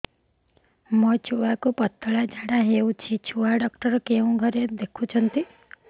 ମୋର ଛୁଆକୁ ପତଳା ଝାଡ଼ା ହେଉଛି ଛୁଆ ଡକ୍ଟର କେଉଁ ଘରେ ଦେଖୁଛନ୍ତି